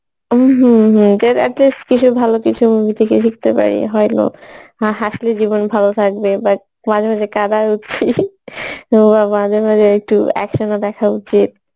উম hmm hmm ভালো কিছু movie থেকে শিখতে পারি হাসলে জীবন ভালো থাকবে but মাঝে মাঝে কাঁদাও উচিত মাঝে মাঝে একটু action ও দেখা উচিত